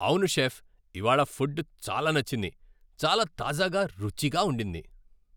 అవును, షెఫ్, ఇవాళ ఫుడ్ చాలా నచ్చింది. చాలా తాజాగా, రుచిగా ఉండింది.